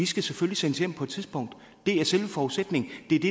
skal sendes hjem på et tidspunkt det er selve forudsætningen det er det